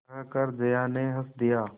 कहकर जया ने हँस दिया